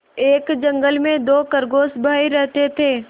एक जंगल में दो खरगोश भाई रहते थे